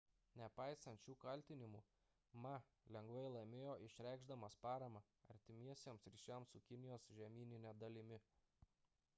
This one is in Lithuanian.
nepaisant šių kaltinimų ma lengvai laimėjo išreikšdamas paramą artimesniems ryšiams su kinijos žemynine dalimi